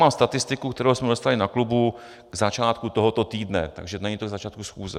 Mám statistiku, kterou jsme dostali na klubu k začátku tohoto týdne, takže to není k začátku schůze.